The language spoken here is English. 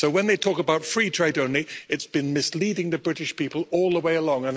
So when they talk about free trade only, it's been misleading the British people all the way along.